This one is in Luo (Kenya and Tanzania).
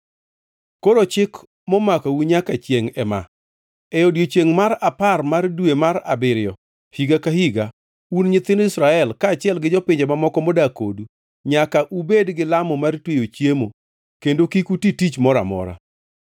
“Koro chik momakou nyaka chiengʼ ema: E odiechiengʼ mar apar mar dwe mar abiriyo higa ka higa, un nyithind Israel, kaachiel gi jopinje mamoko modak kodu, nyaka ubed gilamo mar tweyo chiemo kendo kik uti tich moro amora,